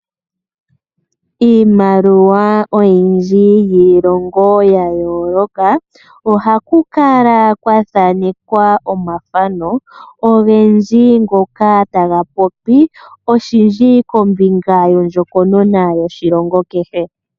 Iimaliwa oyindji yiilongo ya yooloka ohaku kala kwa thanekwa omathano ogendji ngoka taga popi oshindji kombinga yondjokonona yoshilongo kehe.